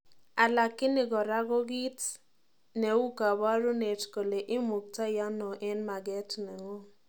Alakini kora ko kiit neu kaparunet kole imuktai ano en maket ng'ung